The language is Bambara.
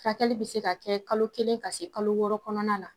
Furakɛli be se ka kɛ kalo kelen ka se kalo wɔɔrɔ kɔnɔna na